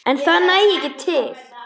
En það nægi ekki til.